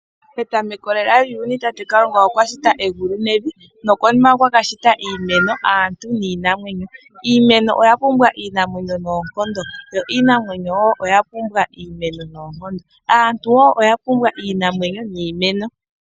Petameko lela lyuuyuni Kalunga okwa shita egulu nevi. Nokonima okwa ka shita iimeno, aantu niinamwenyo . Iimeno oya pumbwa iinamwenyo noonkondo, yo iinamwenyo oyapumbwa iimeno noonkondo . Aantu woo ohapumbwa iimeno niinamwenyo.